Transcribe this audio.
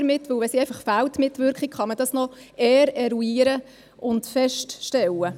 Wenn die Mitwirkung fehlt, kann man das noch eher eruieren und feststellen.